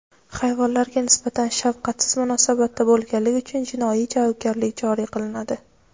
Hayvonlarga nisbatan shafqatsiz munosabatda bo‘lganlik uchun jinoiy javobgarlik joriy qilinadi.